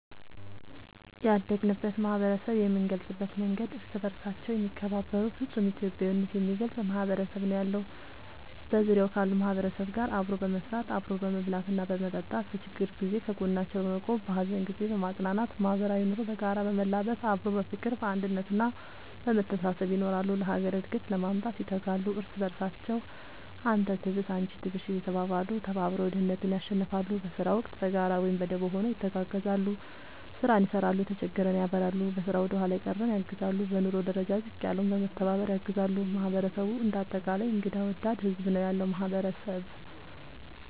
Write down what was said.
ያደግንበት ማህበረሰብ የምንገልፅበት መንገድ እርስ በርሳቸው የሚከባበሩ ፍፁም ኢትዮጵያዊነት የሚገልፅ ማህበረሰብ ነው ያለው። በዙሪያው ካሉ ማህበረሰብ ጋር አብሮ በመስራት፣ አብሮ በመብላትና በመጠጣት በችግር ጊዜ ከጎናቸው በመቆም በሀዘን ጊዜ በማፅናናት ማህበራዊ ኑሮ በጋራ በመላበስ አብሮ በፍቅር፣ በአንድነት እና በመተሳሰብ ይኖራሉ። ለሀገር እድገት ለማምጣት ይተጋሉ። እርስ በርሳቸው አንተ ትብስ አንቺ ትብሽ እየተባባሉ ተባብረው ድህነትን ያሸንፍለ። በስራ ወቅት በጋራ ወይም በደቦ ሆነው ይተጋገዛሉ ስራን ይሰራል የተጀገረን ያበላሉ፣ በስራ ወደኋላ የቀረን ያግዛሉ፣ በኑሮ ደረጃ ዝቅ ያለውን በመተባባር ያግዛሉ ማህበረሰቡ እንደ አጠቃላይ እንግዳ ወዳድ ህዝብ ነው ያለው ማህበረሰብ ።…ተጨማሪ ይመልከቱ